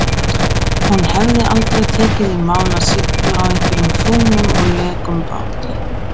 Hún hefði aldrei tekið í mál að sigla á einhverjum fúnum og lekum báti.